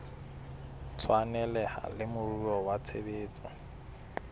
tshwaneleha le moruo wa tshebetso